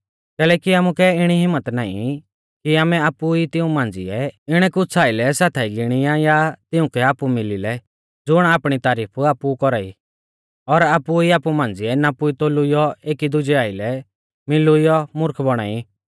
कैलैकि आमुकै इणी हिम्मत नाईं कि आमै आपु ई तिऊं मांझ़िऐ इणै कुछ़ आइलै साथाई गिणिया या तिउंकै आपु मिली लै ज़ुण आपणी तारीफ आपु कौरा ई और आपु ई आपु मांझ़िऐ नापुईतोलूइयौ एकी दुजै आइलै मिल़ुइयौ मुर्ख बौणा ई